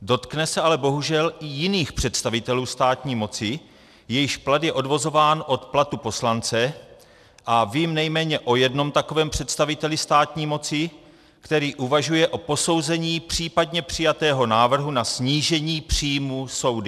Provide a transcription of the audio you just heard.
Dotkne se ale bohužel i jiných představitelů státní moci, jejichž plat je odvozován od platu poslance, a vím nejméně o jednom takovém představiteli státní moci, který uvažuje o posouzení případně přijatého návrhu na snížení příjmů soudy.